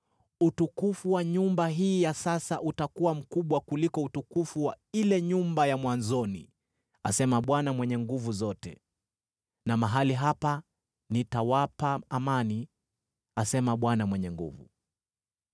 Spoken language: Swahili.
‘Utukufu wa nyumba hii ya sasa utakuwa mkubwa kuliko utukufu wa ile nyumba ya mwanzoni,’ asema Bwana Mwenye Nguvu Zote. ‘Na mahali hapa nitawapa amani,’ asema Bwana Mwenye Nguvu Zote.”